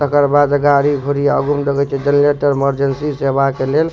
तकर बाद गाड़ी घुड़ी आगू में देखे छिये जनरेटर मर्जेन्सी सेवा के लेल --